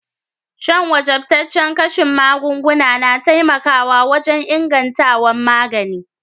San wajabtacen kashin magunguna na taimaka wajen ingantawan magani.